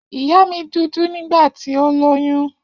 Iya mi dudu nigbati o loyun.